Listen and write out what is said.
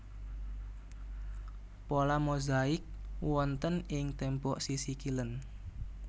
Pola mozaik wonten ing tembok sisih kilèn